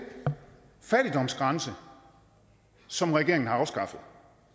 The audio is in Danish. fattigdomsgrænse som regeringen har afskaffet